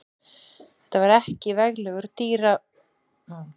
Þetta var ekki veglegur dyraumbúnaður.